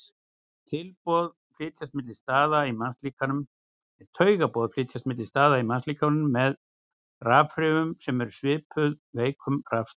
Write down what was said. Taugaboð flytjast milli staða í mannslíkamanum með rafhrifum sem eru svipuð veikum rafstraumi.